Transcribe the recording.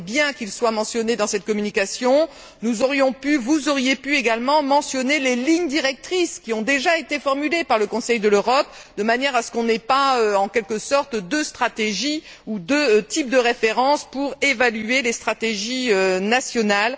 C'est bien qu'il soit mentionné dans cette communication. Nous aurions pu, vous auriez pu également mentionner les lignes directrices qui ont déjà été formulées par le Conseil de l'Europe, de manière à ce qu'on n'ait pas, en quelque sorte, deux stratégies ou deux types de référence pour évaluer les stratégies nationales.